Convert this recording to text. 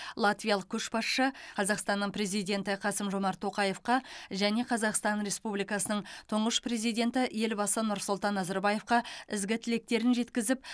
латвиялық көшбасшы қазақстанның президенті қасым жомарт тоқаевқа және қазақстан республикасының тұңғыш президенті елбасы нұрсұлтан назарбаевқа ізгі тілектерін жеткізіп